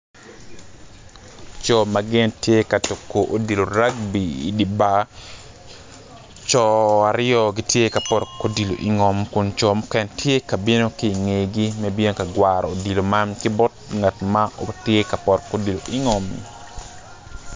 Co ma gin tye ka tuku odilo ragbi i di bar co aryo gitye ka poto ki odilo ingom kun co mukene tye ka bino ki ingegi me bino ka gwaro odilo man ki bot ngat ma tye ka poto ki odilo ingommi